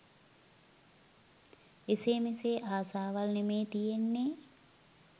එසේ මෙසේ ආසාවල් නෙමේ තියෙන්නේ